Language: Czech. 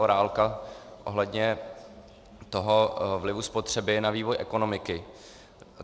Zaorálka ohledně toho vlivu spotřeby na vývoj ekonomiky.